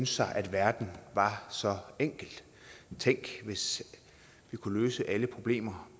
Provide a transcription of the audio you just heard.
sig at verden var så enkel tænk hvis vi kunne løse alle problemer